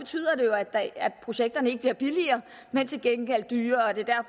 betyder det jo at projekterne ikke bliver billigere men til gengæld dyrere og det